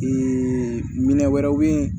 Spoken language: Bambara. minɛn wɛrɛw bɛ ye